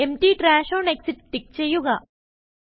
empty trash on exit tick ചെയ്യുക